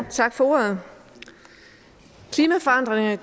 tak for ordet klimaforandringerne